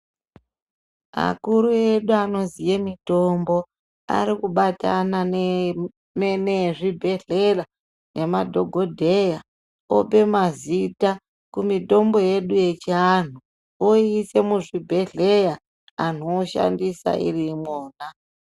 Akuru edu anoziye mutombo arikubatana neezvibhedhlera nemadhokodheya ope mazita kumitombo yedu yechianhu oiise muzvibhedhleya antu oshandisa iriimwona.